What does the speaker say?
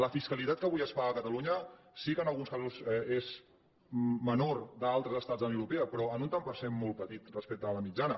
la fiscalitat que avui es paga a catalunya sí que en alguns casos és menor a d’altres estats de la unió europea però en un tant per cent molt petit respecte de la mitjana